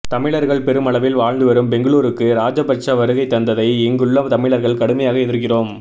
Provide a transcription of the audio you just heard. தமிழர்கள் பெருமளவில் வாழ்ந்துவரும் பெங்களூருக்கு ராஜபட்ச வருகை தந்ததை இங்குள்ள தமிழர்கள் கடுமையாக எதிர்க்கிறோம்